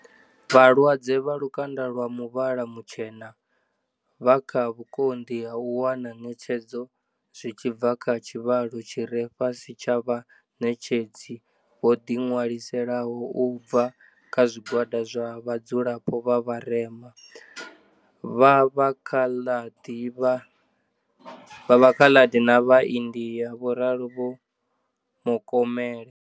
Vhalwadze vha lukanda lwa muvhala mutshena vha kha vhukonḓi ha u wana ṋetshedzo zwi tshi bva kha tshivhalo tshi re fhasi tsha vhaṋetshedzi vho ḓiṅwaliselaho u bva kha zwigwada zwa vha dzulapo vha vharema, vha Vhakhaḽadi na vhaindia, vho ralo Vho Mokomele.